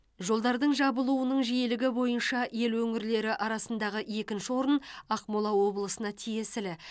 жолдардың жабылуының жиілігі бойынша ел өңірлері арасындағы екінші орын ақмола облысына тиесілі